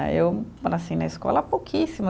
Eh, eu, eu nasci na escola pouquíssimas.